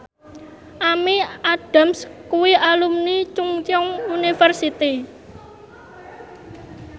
Amy Adams kuwi alumni Chungceong University